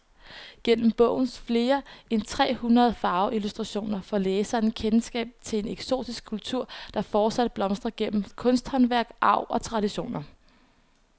Gennem bogens flere end tre hundrede farveillustrationer får læseren kendskab til en eksotisk kultur, der fortsat blomstrer gennem kunsthåndværk, arv og traditioner.